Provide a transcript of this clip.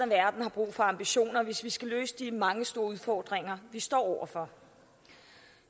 verden har brug for ambitioner hvis vi skal løse de mange store udfordringer vi står over for